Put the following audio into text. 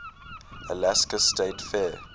alaska state fair